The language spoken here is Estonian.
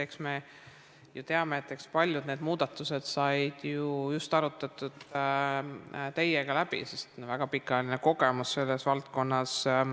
Eks me ju teame, et paljud need muudatused said just arutatud teiega läbi, sest teil on väga pikaajaline kogemus selles valdkonnas.